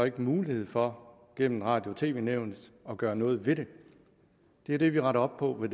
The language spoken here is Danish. ikke mulighed for gennem radio og tv nævnet at gøre noget ved det det er det vi retter op på med